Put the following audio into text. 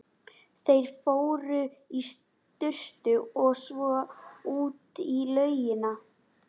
Þeir fóru í sturtu og svo út í laugina.